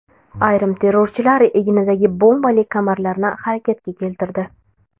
Ayrim terrorchilar egnidagi bombali kamarlarni harakatga keltirdi.